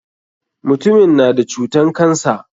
Mutumin na da cutan cancer.